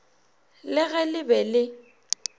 le ge le be le